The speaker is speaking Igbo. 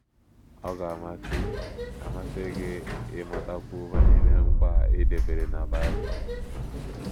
Ọ̀ ga - amasị - amasị gị ịmatakwu banyere nkwa a dabeere na Bible?